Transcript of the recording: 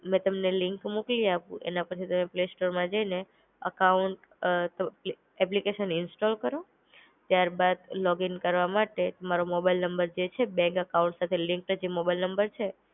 મેં તમને લિંક મોકલી આપું એના પરથી તમે પ્લે સ્ટોરમાં જઈને અકાઉન્ટ એપ્લિકેશન ઇન્સ્ટોલ કરો. ત્યાર બાર લોગીન કરવા માટે તમારો મોબાઈલ નંબર જે છે બેંક અકાઉન્ટ સાથે લિંક્ડ જે મોબાઈલ નંબર છે.